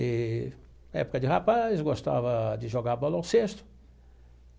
Eee época de rapaz, eu gostava de jogar bola ao cesto.